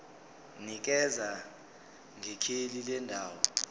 nikeza ngekheli lendawo